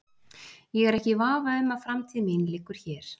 Ég er ekki í vafa um að framtíð mín liggur hér.